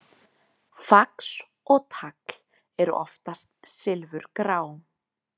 Fax og tagl eru oftast silfurgrá.